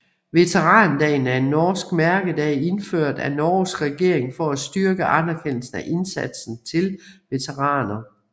Veterandagen er en norsk mærkedag indført af Norges regering for at styrke anerkendelsen af indsatsen til veteraner